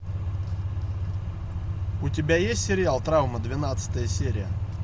у тебя есть сериал травма двенадцатая серия